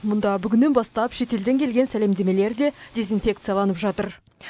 мұнда бүгіннен бастап шетелден келген сәлемдемелер де дезинфекцияланып жатыр